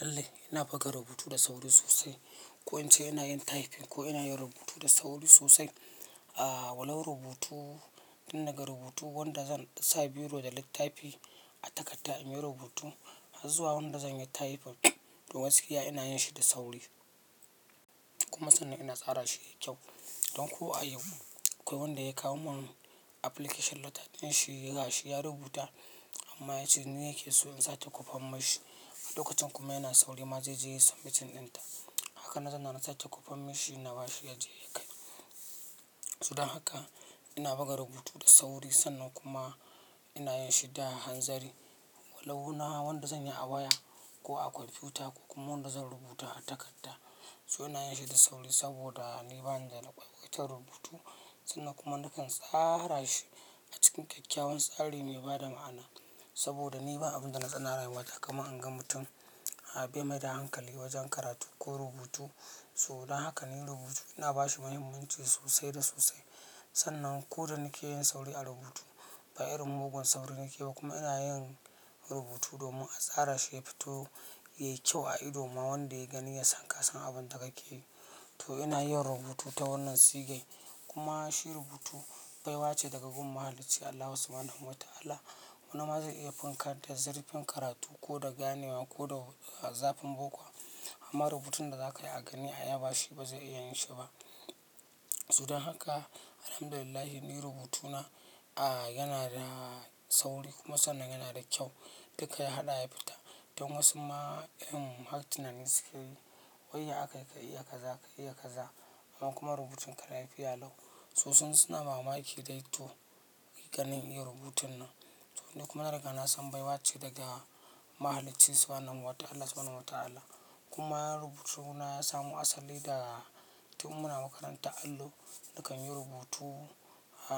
Lalle ina buga rubutu da sauri sosai. Ko in ce ina yin typing ko ina yin rubutu da sauri sosai. Walau rubutu, tun daga rubutu wanda zan sa biro da littafi a takadda in yi rubutu, har zuwa wanda zan yi typing to gaskiya ina yin shi da sauri. Kuma sannan ina tsara shi yayi kyau. Don ko a yau, akawai wanda ya kawo mun application letter ɗin shi, ga shi ya rubuta amma ya ce ni yake so in sake kofan mashi. A lokacin kuma yana sauri, ma zeje yayi submit ɗin ta. Haka na zauna na sake kwafan mishi na bashi yaje ya kai. So don haka in buga rubutu da sauri sannan kuma ina yinshi fa hanzari walau na wanda zanyi a waya ko a kwamfuta ko kuma wanda zan rubuta a takarda. So ina yinshi da sauri saboda ni bani da na lukwikwitan rubutu. Sannan kuma nakan tsara shi a cikin kyakkyawan tsari mai bada ma'ana saboda ni ba abin da na tsana rayuwa ta kama in ga mutum bai maida hankali wajen karatu ko rubutu. So dan haka ni rubutu ina bashi mahimmanci sosai da sosai. Sannan ko da nike yin sauri a rubutu, bai irin mugun sauri nike ba kuma ina yin rubutu domin in tsarashi yafito a ido yayi kyau ma wanda yagani yasan kasan abunda kakeyi to ina yin rubutu ta wannan sigan. Kuma shi rubutu baiwa ce daga gun Mahalicci Allahu Subhanahu wa Ta'ala. Wani ma zaia ya iya finka da zirfin karatu ko da ganewa ko da zafin bokon amma rubutun da zaka yi a gani a yaba shi ba zai iya yin shi ba. So dan haka, Alhamdulillah ni rubutuna yana da sauri kuma sannan yana da kyau. Duka ya haɗa ya fita. Don wasu ma irin har tunani sukeyi. Wai ya akayi ka iya kaza, ka iya kaza. Amma kuma ruburun ka lafiya lau. Su sun-- suna mamaki dai to, ganin iya rubutun nan. To ni kuma na riga na san baiwa ce daga Mahaliccin Subhanahu wa Ta'ala Subhanahu wa Ta'ala. Kuma rubutuna ya samo asali daga tun muna makarantar allo, nakan yi rubutu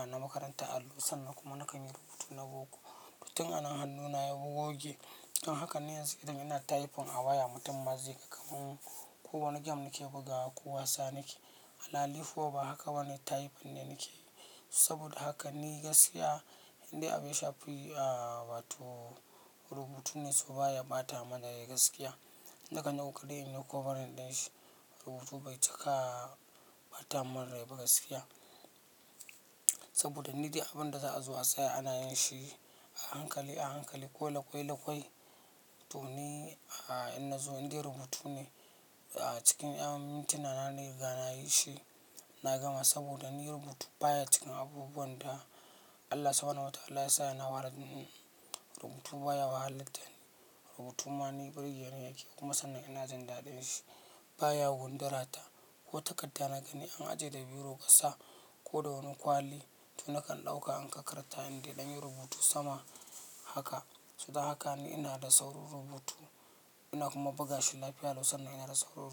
na makarantar allo sannan kuma nakan yi rubutu na boko. To tun anan hannuna ya goge. In haka ne yanzu idan ina typing a waya, mutum ma zai ga kaman ko wani game nake bugawa ko wasa nake. Alhali ko ba haka bane typing ne nake. Saboda haka ni gaskiya indai abu ya shafi wato rubutu ne, to baya bata mini rai gaskiya. Inda ka ɗauka dai in yi cover ɗin shi, rubutu bai cika bata mun rai ba gaskiya. Saboda ni dai abin da za a zo a tsaye ana yin shi a hankali, a hankali ko laƙwai laƙwai. To ni a in zo, inde rubutu ne a cikin yan mituna na na riga nayi shi na gama saboda ni rubutu baya cikin abubuwan da Allah Subhanahu wa Ta'ala ya sa yana wahalar da ni. Rubutu baya wahalar da ni. Rubutu ma ni burge ni yake kuma sannan ina jin daɗin shi. Baya gundara ta ko takadda na gani an ajiye da biro kasa ko da wani kwali to nakan ɗauka in kakkaranta indai dan yi rubutu sama haka. So dan haka ni ina da saurin rubutu ina kuma buga shi lafiya lau sannan ina da saurin rubutu.